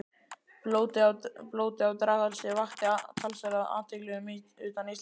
Blótið á Draghálsi vakti talsverða athygli utan Íslands.